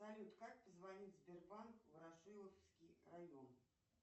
салют как позвонить в сбербанк ворошиловский район